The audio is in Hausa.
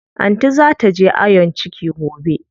Anty zaa taje ayon ciki gobe.